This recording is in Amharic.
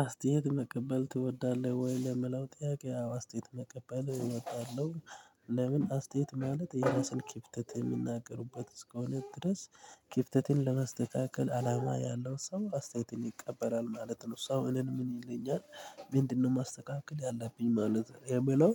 አስተያየት መቀበል ትወዳለህ ወይ? ለምላው ጥያቄ ኣዎ አስተያየት መቀበል እወዳለሁ። ለምን አስተያየት ማለት የራስን ኪፍተት የምናገርበት እስከሆነ ድረስ ኪፍተትን ለመስተካከል አላማ ያለው ሰው አስተያየትን ይቀበላል ማለት ነው። ሰው እኔን ምን ይለኛል? ምንድነው ማስተካከል ያለብኝ ማለት የምለው።